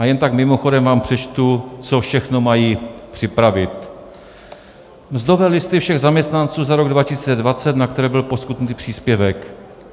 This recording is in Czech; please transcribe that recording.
A jen tak mimochodem vám přečtu, co všechno mají připravit: Mzdové listy všech zaměstnanců za rok 2020, na které byl poskytnut příspěvek.